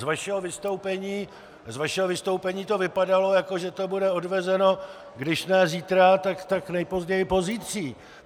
Z vašeho vystoupení to vypadalo, jako že to bude odvezeno když ne zítra, tak nejpozději pozítří.